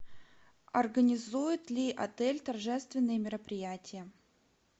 организует ли отель торжественные мероприятия